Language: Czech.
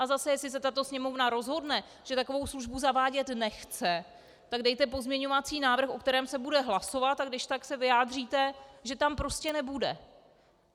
A zase, jestli se tato Sněmovna rozhodne, že takovou službu zavádět nechce, tak dejte pozměňovací návrh, o kterém se bude hlasovat, a když tak se vyjádříte, že tam prostě nebude.